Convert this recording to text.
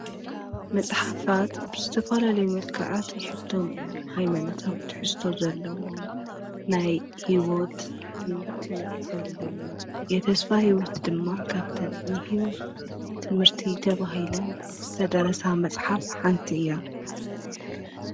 መጽሓፋት ብስተፈላ ለይ መልካዓት ይሕቶም እዮም ኃይመነታው ትሒስቶ ዘለዎ ናይ ሕይወት ትምህርቲ ዘለዎ የተስፋ ሕይወት ድማ ኻብተን ንሕይወት ትምህርቲ ተብሂለን ዝተደረሳ መጽሓፍ ሓንቲ እያ።